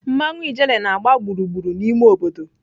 mmanwụ Ijele na-agba gburugburu n'ime obodo.